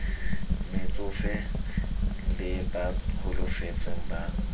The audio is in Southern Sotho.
metsofe le ba holofetseng ba